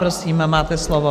Prosím, máte slovo.